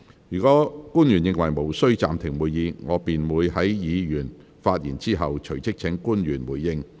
若官員認為無須暫停會議，我便會在議員發言後，隨即請官員回應。